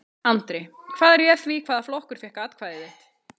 Andri: Hvað réð því hvaða flokkur fékk atkvæði þitt?